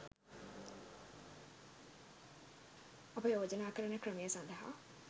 අප යෝජනා කරන ක්‍රමය සඳහා